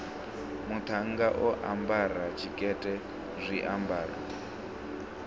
muṱhannga o ambara tshikete zwiambaro